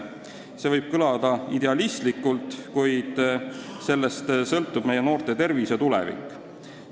See võib kõlada idealistlikult, kuid sellest sõltub meie noorte tervis ja tulevik.